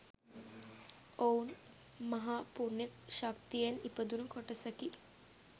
ඔවුන් මහා පුණ්‍ය ශක්තියෙන් ඉපදුණු කොටසකි.